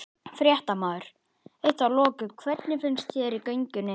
Fréttamaður: Eitt að loku, hvernig fannst þér í göngunni?